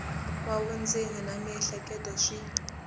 wa vundzeni na miehleketo swi